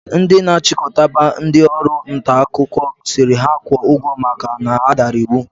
Ndi na achikotaba ndi Ọrụ ntaakụkọ siri ha kwo ugwo maka na ha dara iwu